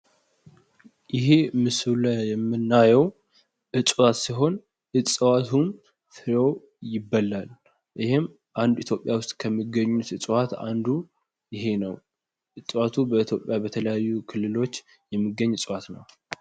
ይሀ ምስሉ ላይ የምናየው እጽዋት ሲሆን እጽዋቱም ይበላል ይሄም አንድ ኢትዮጵያ ዉስጥ አንድ በኢትዮጵያ ዉስጥ ከሚገኙ እጽዋት አንዱ ይሄ ነው። እጽዋቱ በኢትዮጵያ በተለያዩ ክልሎች የሚገኝ እጽዋት ነው።